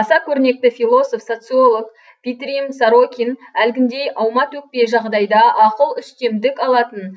аса көрнекті философ социолог питирим сорокин әлгіндей аума төкпе жағдайда ақыл үстемдік алатын